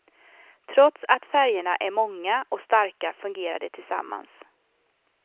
Trots att färgerna är många och starka fungerar de tillsammans.